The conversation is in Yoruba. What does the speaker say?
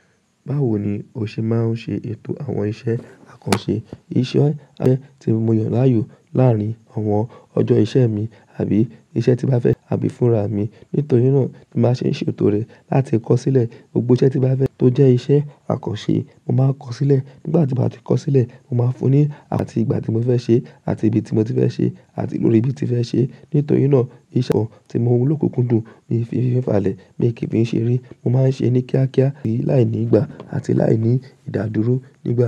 Báwo ni o ṣe máa ń ṣe ètò àwọn iṣẹ́ àkànṣe? Iṣẹ́ àkànṣe tí mo yàn láàyò làárín àwọn ọjọ́ iṣẹ́ mi àbí iṣẹ́ tí n bá fẹ́ àbí fúnra mi. Nítorí náà kí má ṣe ṣètò rẹ̀ láti kọ̀ sílẹ̀. Gbogbo iṣẹ́ tí n bá fẹ́ tó jẹ́ iṣẹ́ àkànṣe mo máa ń kọ̀ sílẹ̀. Nígbà tí mo bá ti kọ̀ sílẹ̀, mo máa fún un ní ati ìgbà tí mo fẹ́ ṣe àti ibi tí mo ti fẹ́ ṣe àti lórí bí mo ti fẹ́ ṣe. Nítorí náà iṣẹ́ àwọn tí mo wù lókunkúndùn mi kì fì fàlẹ́ mí i kìí fi ń ṣeré. Mo máa ń ṣe ẹ ni kíákíá láìní ìgbà àti láìní ìdádúró nígbà.